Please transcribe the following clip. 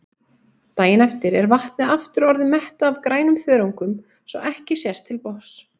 Daginn eftir er vatnið aftur orðið mettað af grænum þörungum svo ekki sést til botns.